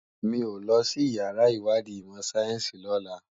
Mi ó lòsí iyàrá iwàdí imò sáyènsí lòlá